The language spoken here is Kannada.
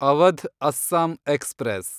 ಅವಧ್ ಅಸ್ಸಾಂ ಎಕ್ಸ್‌ಪ್ರೆಸ್